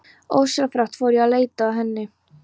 Ósjálfrátt fór ég að leita að henni.